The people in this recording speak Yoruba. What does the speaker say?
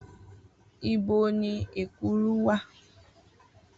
Ibo ni ekuru wà?